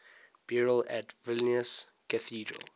burials at vilnius cathedral